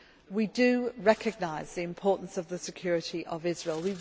We do recognise the importance of the security of Israel.